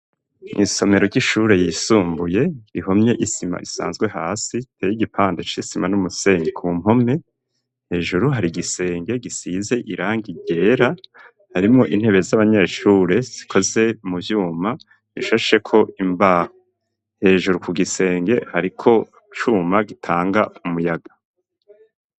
Isomero ry'ishure yisumbuye ihomye isima isanzwe hasi iteye igipande c'isima n'umuseni ku mpome hejuru hari igisenge gisize irangi ryera harimwo intebe z'abanyeshure zikoze mu vyuma ishasheko imbaho hejuru ku gisenge hariko icuma gitanga umuyaga.